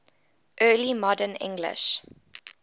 early modern english